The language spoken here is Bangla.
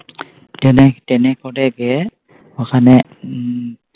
Train এ Train এ করে গিয়ে ওখানে হু উম